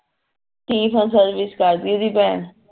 ਤੀਹ ਸਾਲ service ਕਰਦੀ ਓਦੀ ਭੈਣ